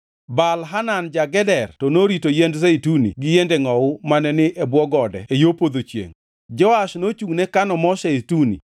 Baal-Hanan ja-Geder to norito yiend zeituni gi yiende ngʼowu mane ni e bwo gode e yo podho chiengʼ, Joash nochungʼne kano mo zeituni.